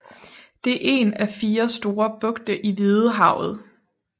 Det er en af fire store bugte i Hvidehavet